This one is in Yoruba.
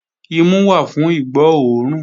Imu wà fún ìgbó òórùn